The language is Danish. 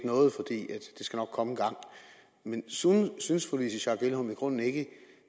noget for det skal nok komme engang men synes fru louise schack elholm i grunden ikke